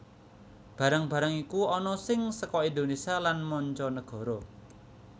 Barang barang iku ana sing seka Indonesia lan manca nagara